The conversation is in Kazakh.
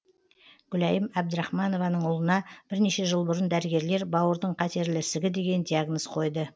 гүлайым әбдірахманованың ұлына бірнеше жыл бұрын дәрігерлер бауырдың қатерлігі ісігі деген диагноз қойды